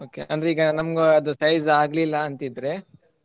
Okay ಅಂದ್ರೆ ಈಗ ನಮ್ಗೆ ಅದು size ಆಗ್ಲಿಲ್ಲ ಅಂತಿದ್ರೆ .